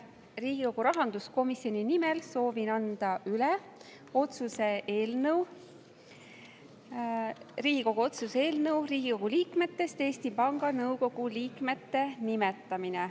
Riigikogu rahanduskomisjoni nimel soovin anda üle Riigikogu otsuse eelnõu "Riigikogu liikmetest Eesti Panga Nõukogu liikmete nimetamine".